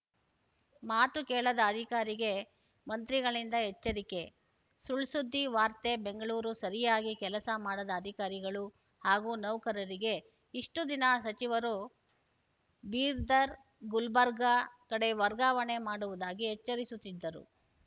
ಮಾತು ಕೇಳದ ಅಧಿಕಾರಿಗೆ ಮಂತ್ರಿಗಳಿಂದ ಎಚ್ಚರಿಕೆ ಸುಳ್‌ಸುದ್ದಿ ವಾರ್ತೆ ಬೆಂಗಳೂರು ಸರಿಯಾಗಿ ಕೆಲಸ ಮಾಡದ ಅಧಿಕಾರಿಗಳು ಹಾಗೂ ನೌಕರರಿಗೆ ಇಷ್ಟುದಿನ ಸಚಿವರು ಬೀದರ್‌ ಗುಲ್ಬರ್ಗ ಕಡೆ ವರ್ಗಾವಣೆ ಮಾಡುವುದಾಗಿ ಎಚ್ಚರಿಸುತ್ತಿದ್ದರು